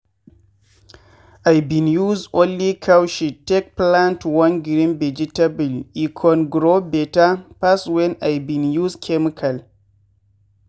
i bin use only cow shit take plant one green vegetable e con grow better pass wen i been use chemical.